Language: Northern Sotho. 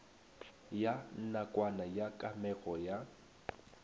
ya nakwana ya kamego ya